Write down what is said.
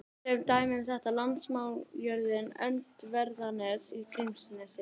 Sem dæmi um þetta er landnámsjörðin Öndverðarnes í Grímsnesi.